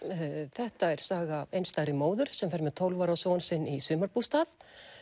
þetta er saga af einstæðri móður sem fer með tólf ára son sinn í sumarbústað